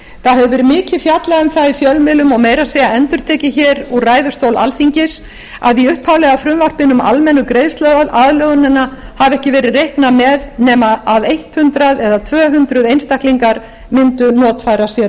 það hefur mikið verið fjallað um það í fjölmiðlum og meira að segja endurtekið hér úr ræðustól alþingis að í upphaflega frumvarpinu um almennu greiðsluaðlögunina hafi ekki verið reiknað með nema að hundrað tvö hundruð einstaklingar mundu notfæra sér